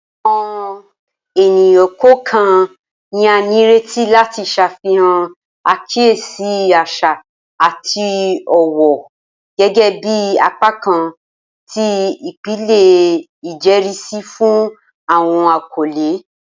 Awọn eniyan kọọkan ni a nireti lati ṣafihan akiyesi aṣa ati ọwọ gẹgẹbi apakan ti ipilẹ ijẹrisi fun awọn akọle.